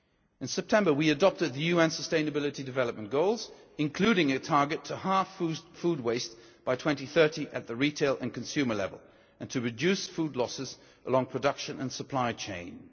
In September we adopted the UN Sustainability Development Goals, including a target to halve food waste by 2030 at the retail and consumer level, and to reduce food losses along production and supply chains.